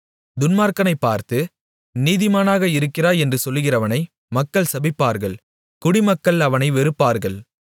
துன்மார்க்கனைப் பார்த்து நீதிமானாக இருக்கிறாய் என்று சொல்லுகிறவனை மக்கள் சபிப்பார்கள் குடிமக்கள் அவனை வெறுப்பார்கள்